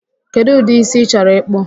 Kedụ ụdị ísí ị chọrọ ịkpụ?